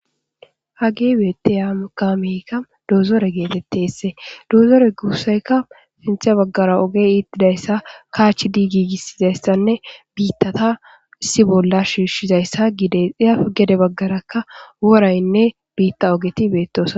Haye betiya kameyka dozore getetsi dozore gusayka sintha bagara ogey itidaysa kachidi gigisizaysanne bitata issi bolla shishizaysa gides izape gede bagaraka woraynne bita ogeti betosona